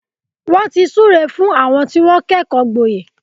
Wọ́n ti súre fún àwọn tí wọ́n kẹ́kọ̀ọ́ gboyè.